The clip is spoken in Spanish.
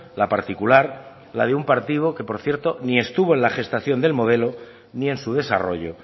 la particular la de un partido que por cierto ni estuvo en la gestación del modelo ni en su desarrollo